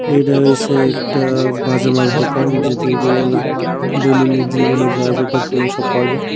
এডা হয়েসে একটা বাজে মাল দুকান যেদিকে দৈনন্দিন জীবনে যা যা দরকার লয় সব পাওয়া যায়।